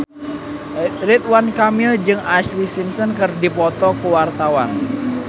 Ridwan Kamil jeung Ashlee Simpson keur dipoto ku wartawan